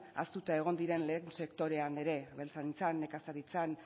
ahaztuta egon diren lehen sektorean ere abeltzaintzan nekazaritzan